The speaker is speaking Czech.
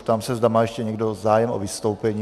Ptám se, zda má ještě někdo zájem o vystoupení.